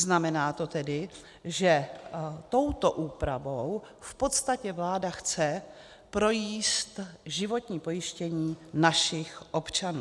Znamená to tedy, že touto úpravou v podstatě vláda chce projíst životní pojištění našich občanů.